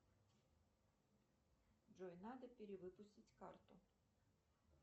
джой надо перевыпустить карту